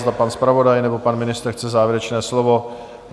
Zda pan zpravodaj nebo pan ministr chce závěrečné slovo?